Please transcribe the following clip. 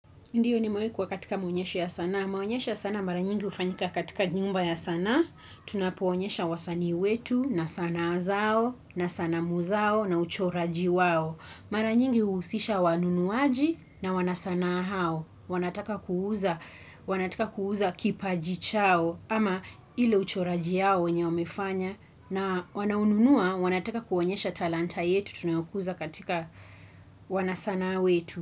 Ndiyo nimewaikuwa katika maonyesho ya sanaa. Maonyesho ya sanaa maranyingi ufanyika katika nyumba ya sanaa. Tunapoonyesha wasanii wetu na sanaa zao na sanamu zao na uchoraji wao. Maranyingi uhusisha wanunuaji na wanasanaa hao. Wanataka kuuza, wanataka kuuza kipaji chao ama ile uchoraji yao yenye wamefanya. Na wanau nunua, wanataka kuonyesha talanta yetu tunayokuza katika wanasanaa wetu.